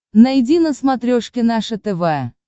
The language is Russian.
найди на смотрешке наше тв